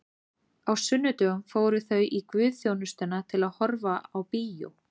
Á sunnudögum fóru þau í guðsþjónustuna til að horfa á bíó.